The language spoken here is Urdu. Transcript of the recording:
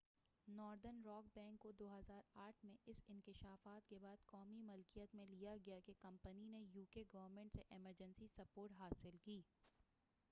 ناردرن راک بینک کو 2008ء میں اس انکشاف کے بعد قومی ملکیت میں لیا گیا کہ کمپنی نے یو کے گورنمنٹ سے ایمرجنسی سپورٹ حاصل کی